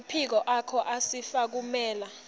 emaphiko akho asifukamela